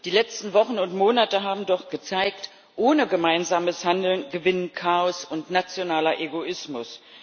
Die letzten Wochen und Monate haben doch gezeigt Ohne gemeinsames Handeln gewinnen Chaos und nationaler Egoismus.